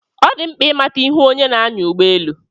Ọ dị mkpa ị mata ihu onye na-anya ụgbọ elu.